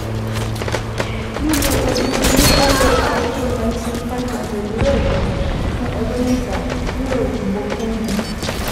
Lílo oògùn oníkóóró Azithromycin five hundred lẹ́ẹ̀kan fún ọjọ́ mẹ́ta yóò bọ́gbọ́n mu